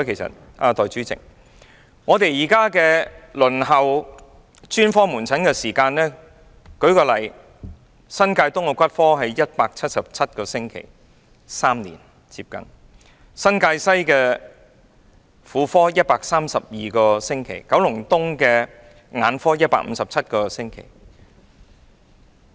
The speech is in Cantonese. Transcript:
代理主席，這是因為現時輪候專科門診的時間很長，以新界東的骨科為例，達177個星期，接近3年；新界西的婦科，達132個星期；九龍東的眼科，達157個星期。